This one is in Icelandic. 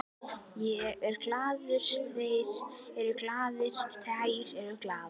Ég er glaður, þeir eru glaðir, þær eru glaðar.